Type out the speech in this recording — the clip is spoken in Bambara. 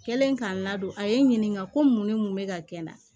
Kɛlen k'a n ladon a ye n ɲininka ko mun ne mun bɛ ka kɛ n na